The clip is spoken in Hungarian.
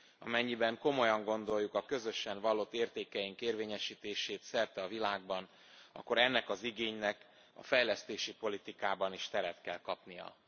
Amennyiben komolyan gondoljuk a közösen vallott értékeink érvényesítését szerte a világban, akkor ennek az igénynek a fejlesztési politikában is teret kell kapnia.